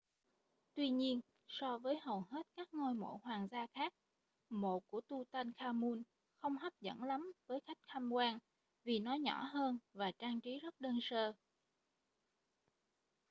tuy nhiên so với hầu hết các ngôi mộ hoàng gia khác mộ của tutankhamun không hấp dẫn lắm với khách tham quan vì nó nhỏ hơn và trang trí rất đơn sơ